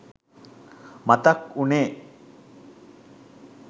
මතක් උනේ.